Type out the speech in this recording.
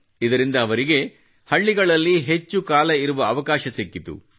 ಇದರಿಂದ ಅವರಿಗೆ ಹಳ್ಳಿಗಳಲ್ಲಿ ಹೆಚ್ಚು ಕಾಲ ಇರುವ ಅವಕಾಶ ಸಿಕ್ಕಿತು